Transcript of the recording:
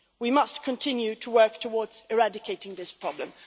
We must continue to work towards eradicating this problem.